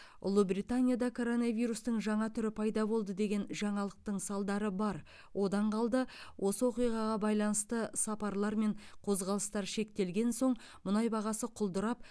ұлыбританияда коронавирустың жаңа түрі пайда болды деген жаңалықтың салдары бар одан қалды осы оқиғаға байланысты сапарлар мен қозғалыстар шектелген соң мұнай бағасы құлдырап